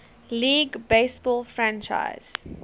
league baseball franchise